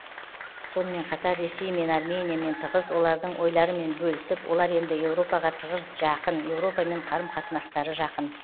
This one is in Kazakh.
сонымен қатар ресеймен армениямен тығыз олардың ойларымен бөлісіп олар енді еуропаға тығыз жақын еуропамен қарым қатынастары жақын